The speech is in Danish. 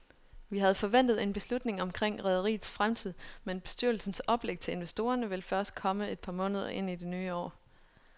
Vi havde forventet en beslutning omkring rederiets fremtid, men bestyrelsens oplæg til investorerne vil først komme et par måneder ind i det nye år.